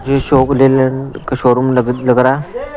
ये शो के लिए का शोरूम लग रहा है।